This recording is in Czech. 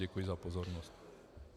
Děkuji za pozornost.